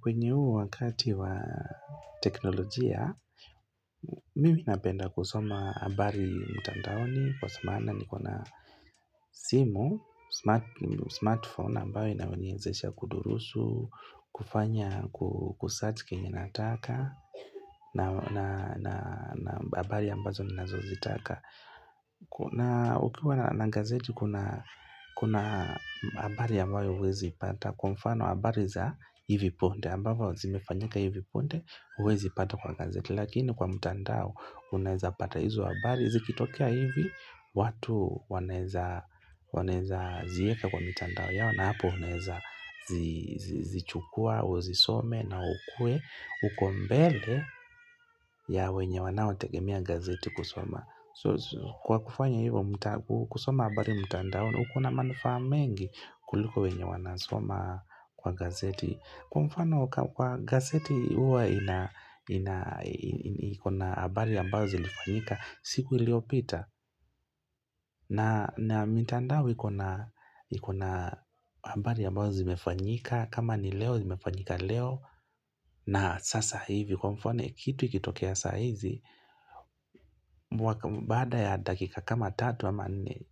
Kwenye uu wakati wa teknolojia, mimi napenda kusoma habari mtandaoni kwa samana nikona simu, smartphone ambayo inawenyezesha kudurusu, kufanya kusearch kenye nataka na habari ambazo ninazozitaka. Na ukiwa na ngazeti kuna kuna habari ambayo huwezi ipata Kwa mfano habari za hivi punde ambavo zimefanyika hivi punde huwezi ipata kwa gazeti Lakini kwa mtandao unaeza pata hizo habari zikitokea hivi watu wanaeza wanaeza zieka kwa mitandao yao na hapo uneza zi zi zichukua uzisome na ukuwe uko mbele ya wenye wanao tegemea gazeti kusoma Kwa kufanya hivyo, kusoma habari mtandao, kuna manufaa mengi kuliko wenye wanasoma kwa gazeti. Kwa mfano, kwa gazeti huwa, ina ina iko habari ambayo zilifanyika, siku iliopita. Na mitandao ikona ikona habari ambazo zimefanyika, kama ni leo zimefanyika leo. Na sasa hivi kwa mfano kitu ikitokea saa hizi mwaka baada ya dakika kama tatu ama nne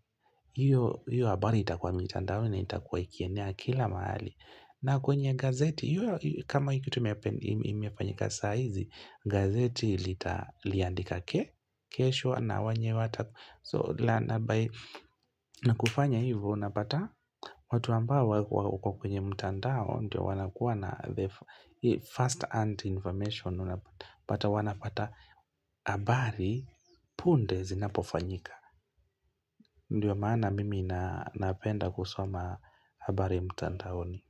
hiyo hiyo habari itakuwa mitandaoni na itakuwa ikienea kila mahali na kwenye gazeti, kama hiki tumefanyika saa hizi gazeti litlia andika ke kesho na wenye wataku So na by na kufanya hivo unapata watu ambao wa wako kwenye mtandao ndio wanakuwa na the first hand information but wanapata abari punde zinapofanyika Ndiyo maana mimi na napenda kusoma habari mtandaoni.